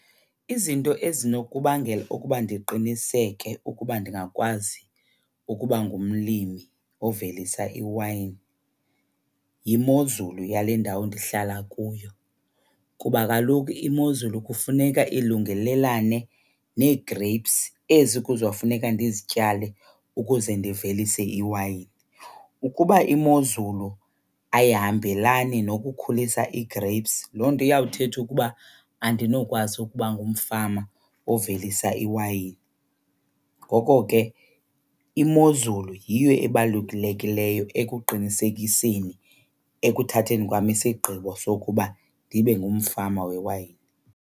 Izinto ezinokubangela ukuba ndiqiniseke ukuba ndingakwazi ukuba ngumlimi ovelisa iwayini yimozulu yale ndawo ndihlala kuyo, kuba kaloku imozulu kufuneka ilungelelane nee-grapes ezi kuzofuneka ndizityale ukuze ndivelise iwayini. Ukuba imozulu ayihambelani nokukhulisa ii-grapes, loo nto iyawuthetha ukuba andinokwazi ukuba ngumfama ovelisa iwayini. Ngoko ke imozulu yiyo ebalulekileyo ekuqinisekiseni, ekuthatheni kwam isigqibo sokuba ndibe ngumfama wewayini.